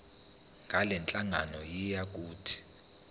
ngalenhlangano yiya kut